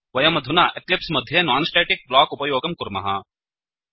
वयमधुना एक्लिप्स् मध्ये non static block उपयोगं कुर्मः